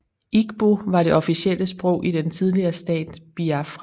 Igbo var det officielle sprog i den tidligere stat Biafra